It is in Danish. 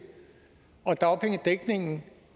og dagpengedækningen